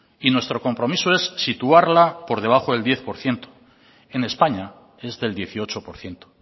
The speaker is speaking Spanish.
y nuestro compromiso es situarla por debajo del diez por ciento en españa es del dieciocho por ciento